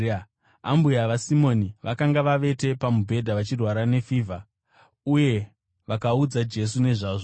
Ambuya vaSimoni vakanga vavete pamubhedha vachirwara nefivha, uye vakaudza Jesu nezvavo.